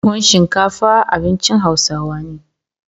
tuwon shinkafa abincin hausawa ne